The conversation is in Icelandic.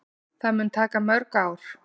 Það mun taka mörg ár.